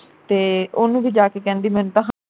ਤੇ ਉਹਨੂੰ ਵੀ ਜਾ ਕੇ ਕਹਿੰਦੀ ਮੈਨੂੰ ਤਾ